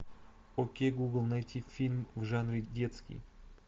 окей гугл найти фильм в жанре детский